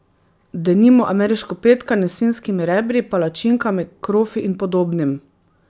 Denimo ameriško petkanje s svinjskimi rebri, palačinkami, krofi in podobnim.